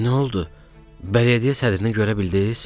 Nə oldu, bələdiyyə sədrini görə bildiz?